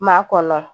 Maa kɔlɔlɔ